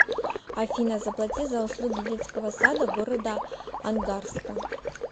афина заплати за услуги детского сада города ангарска